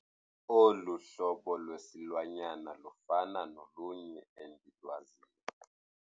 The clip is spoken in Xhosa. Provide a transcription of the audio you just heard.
Olu hlobo lwesilwanyana lufana nolunye endilwaziyo.